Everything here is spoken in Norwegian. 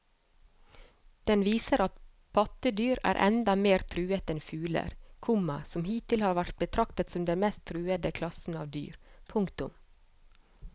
Den viser at pattedyr er enda mer truet enn fugler, komma som hittil har vært betraktet som den mest truede klassen av dyr. punktum